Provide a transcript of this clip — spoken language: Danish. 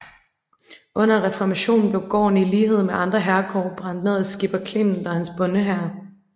Under reformationen blev gården i lighed med andre herregårde brændt ned af skipper Clement og hans bondehær